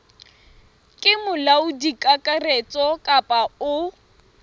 ke molaodi kakaretso kapa o